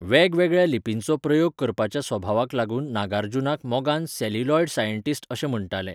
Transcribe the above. वेगवेगळ्या लिपींचो प्रयोग करपाच्या स्वभावाक लागून नागार्जुनाक मोगान 'सेल्युलॉयड सायन्टिस्ट' अशें म्हण्टाले.